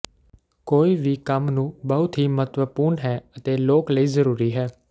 ਕੋਈ ਵੀ ਕੰਮ ਨੂੰ ਬਹੁਤ ਹੀ ਮਹੱਤਵਪੂਰਨ ਹੈ ਅਤੇ ਲੋਕ ਲਈ ਜ਼ਰੂਰੀ ਹੈ